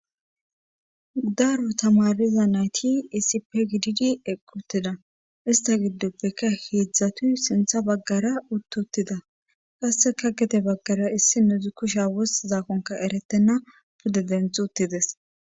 Daaro tamariza nayti isipe gididi eqqutida ista giddoppeka heedzdzatuy sintha baggara uttutida qasseka gete baggara issi nudzu kusha woss zaakonka eretenna pude denth uttides.